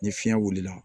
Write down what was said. Ni fiɲɛ wulila